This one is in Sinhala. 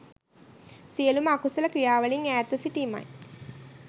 සියලුම අකුසල ක්‍රියාවලින් ඈත්ව සිටීමයි